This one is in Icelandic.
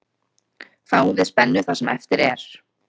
Fáum við spennu það sem eftir er.